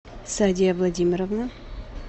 садия владимировна